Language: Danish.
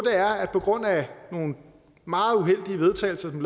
er at på grund af nogle meget uheldige vedtagelser som